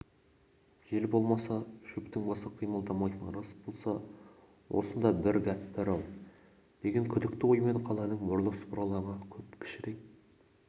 жел болмаса шөптің басы қимылдамайтыны рас болса осында бір гәп бар-ау деген күдікті оймен қаланың бұрылыс-бұралаңы көп кішірек